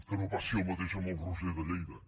que no passi el mateix amb el roser de lleida